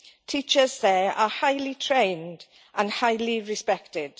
Teachers there are highly trained and highly respected.